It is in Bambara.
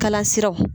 Kala siraw